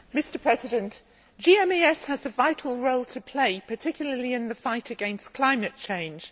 Mr President, GMES has a vital role to play, particularly in the fight against climate change.